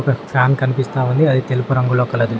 Fan కన్పిస్తా ఉంది అది తెలుపు రంగులో కలదు.